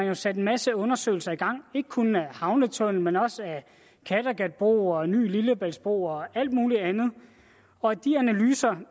jo sat en masse undersøgelser i gang ikke kun af en havnetunnel men også af en kattegatbro en ny lillebæltsbro og alt muligt andet og de analyser